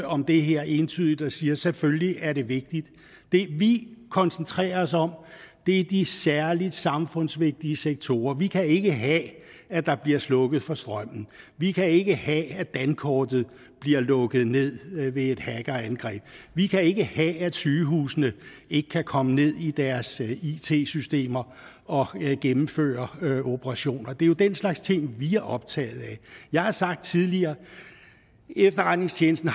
om det her entydigt og siger selvfølgelig er det vigtigt det vi koncentrerer os om er de særlig samfundsvigtige sektorer vi kan ikke have at der bliver slukket for strømmen vi kan ikke have at dankortet bliver lukket ned ved et hackerangreb vi kan ikke have at sygehusene ikke kan komme ned i deres it systemer og gennemføre operationer det er jo den slags ting vi er optaget af jeg har sagt tidligere at efterretningstjenesten